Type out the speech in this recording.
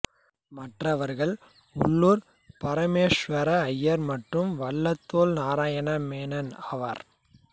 மற்றவர்கள் உள்ளூர் பரமேசுவர அய்யர் மற்றும் வள்ளத்தோள் நாராயண மேனன் ஆவர்